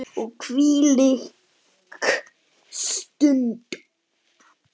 Og hvílík stund!